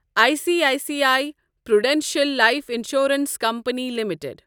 I C I C I Prudential life insurance company limited